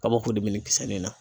Kabako de bɛ nin kisɛ nin na.